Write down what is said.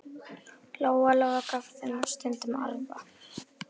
Lóa-Lóa gaf þeim stundum arfa.